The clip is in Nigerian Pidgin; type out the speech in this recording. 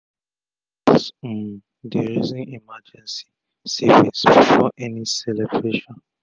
couples um dey reason emergency savings before any celebration